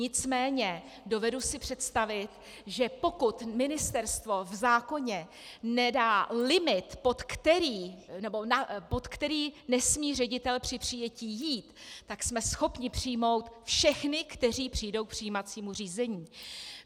Nicméně dovedu si představit, že pokud ministerstvo v zákoně nedá limit, pod který nesmí ředitel při přijetí jít, tak jsme schopni přijmout všechny, kteří přijdou k přijímacímu řízení.